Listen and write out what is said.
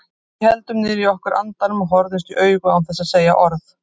Við héldum niðri í okkur andanum og horfðumst í augu án þess að segja orð.